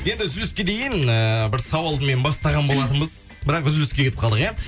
енді үзіліске дейін ііі бір сауалды мен бастаған болатынбыз бірақ үзіліске кетіп қалдық иә